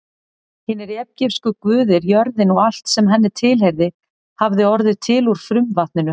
Hinir egypsku guðir, jörðin og allt sem henni tilheyrði, hafði orðið til úr frumvatninu.